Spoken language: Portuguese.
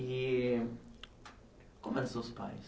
E como eram seus pais?